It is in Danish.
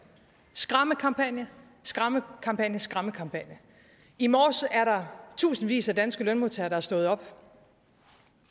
skræmmekampagne skræmmekampagne skræmmekampagne i morges er der tusindvis af danske lønmodtagere der er stået op